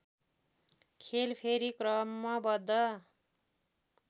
खेल फेरि क्रमबद्ध